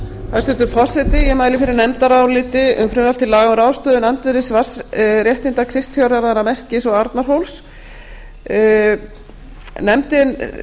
hæstvirtur forseti ég mæli fyrir nefndaráliti um frumvarp til laga um ráðstöfun andvirðis vatnsréttinda kristfjárjarðanna merkis og arnarhóls sjávarútvegs